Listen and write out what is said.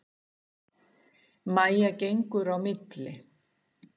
Mæja gengur á milli.